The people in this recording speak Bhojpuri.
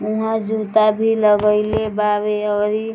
उहां जुता भी लगैले बावे और इ --